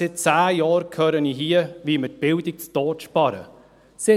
Seit zehn Jahren höre ich hier, wie wir die Bildung zu Tode sparen würden.